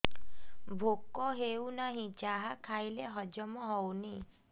ଭୋକ ହେଉନାହିଁ ଯାହା ଖାଇଲେ ହଜମ ହଉନି